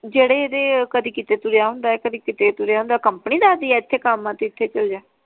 ਜਿਹੜੇ ਇਹਦੇ ਕਦੀ ਕਿਤੇ ਤੁਰੀਆ ਹੁੰਦਾ ਆ ਕਦੀ ਕਿਤੇ ਤੁਰਿਆ ਹੁੰਦਾ ਕੰਪ੍ਨੀ ਦਸਦੀ ਆ ਏਥੇ ਕਾਮ ਆ ਤੇ ਏਥੇ ਚਲ ਜਾ?